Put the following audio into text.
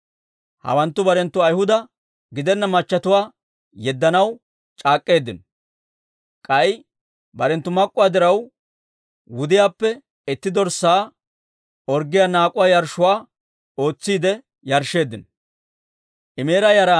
Hawanttu barenttu Ayhuda gidenna machchetuwaa yeddanaw c'aak'k'eeddino; k'ay barenttu naak'uwaa diraw, wudiyaappe itti dorssaa orggiyaa naak'uwaa yarshshuwaa ootsiide yarshsheeddino.